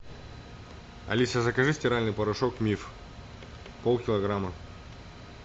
алиса закажи стиральный порошок миф пол килограмма